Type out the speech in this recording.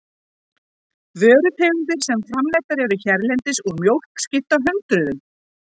Vörutegundir sem framleiddar eru hérlendis úr mjólk skipta hundruðum.